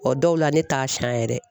O dɔw la ne t'a siyan yɛrɛ.